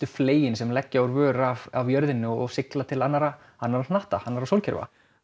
fleyin sem leggja úr vör frá jörðinni og sigla til annarra annarra hnatta og sólkerfa